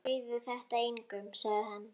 Segðu þetta engum sagði hann.